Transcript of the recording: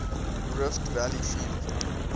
rift valley fever